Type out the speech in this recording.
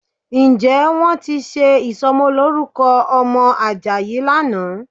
Ǹjẹ́ wọ́n ti ṣe ìsọmọlórúkọ ọmọ Àjàyí lánàá?